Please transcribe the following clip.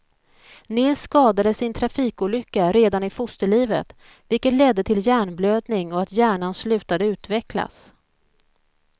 Nils skadades i en trafikolycka redan i fosterlivet, vilket ledde till hjärnblödning och att hjärnan slutade utvecklas.